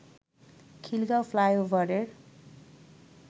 খিলগাঁও ফ্লাইওভারের